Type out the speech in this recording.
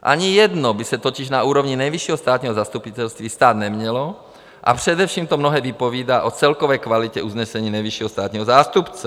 Ani jedno by se totiž na úrovni Nejvyššího státního zastupitelství stát nemělo, a především to mnohé vypovídá o celkové kvalitě usnesení nejvyššího státního zástupce.